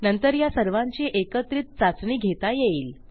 नंतर ह्या सर्वांची एकत्रित चाचणी घेता येईल